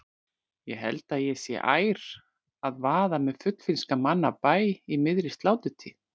Ég held ég sé ær að vaða með fullfrískan mann af bæ í miðri sláturtíð.